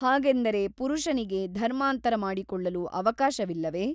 ಹಾಗೆಂದರೆ ಪುರುಷನಿಗೆ ಧರ್ಮಾಂತರ ಮಾಡಿಕೊಳ್ಳಲು ಅವಕಾಶವಿಲ್ಲವೇ?